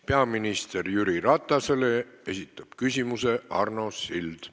Peaminister Jüri Ratasele esitab küsimuse Arno Sild.